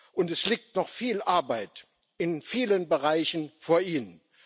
Und es liegt noch viel Arbeit in vielen Bereichen vor Ihnen.